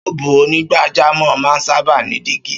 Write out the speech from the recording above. Ṣọ́ọ̀bù onígbàjámọ́ máa ń sábà ní dígí